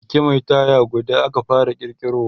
Keke Mai taya guda aka fara kirkirowa